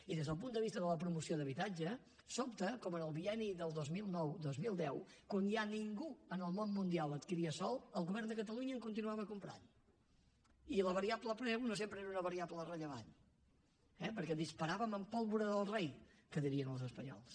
i des del punt de vista de la promoció d’habitatge sobta com en el bienni del dos mil nou dos mil deu quan ja ningú en el món mundial adquiria sòl el govern de catalunya en continuava comprant i la variable preu no sempre era una variable rellevant eh perquè disparàvem amb pólvora del rei que dirien els espanyols